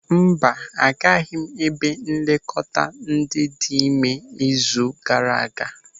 Mba, agaghị m ebe nlekọta ndị dị ịme izu gaara aga.